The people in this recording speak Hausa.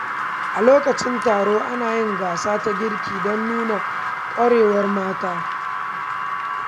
A lokacin taron, ana yin gasa ta girki don nuna ƙwarewar mata.